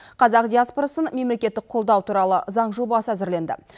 қазақ диаспорасын мемлекеттік қолдау туралы заң жобасы әзірленді